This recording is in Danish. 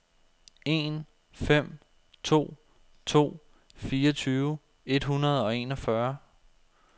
en fem to to fireogtyve et hundrede og enogfyrre